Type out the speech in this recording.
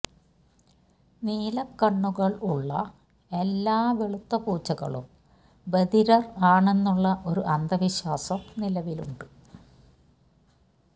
നീലക്കണ്ണുകൾ ഉള്ള എല്ലാ വെളുത്ത പൂച്ചകളും ബധിരർ ആണെന്നുള്ള ഒരു അന്ധവിശ്വാസം നിലവിലുണ്ട്